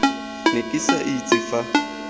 ne ke sa itse fa